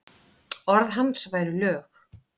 Orð hans væru lög.